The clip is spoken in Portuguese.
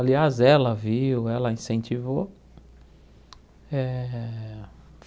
Aliás, ela viu, ela incentivou. Eh